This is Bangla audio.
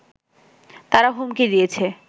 তারা হুমকি দিয়েছে